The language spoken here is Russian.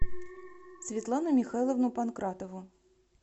светлану михайловну панкратову